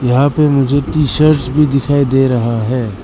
यहां पे मुझे टी शर्टस भी दिखाई दे रहा हैं।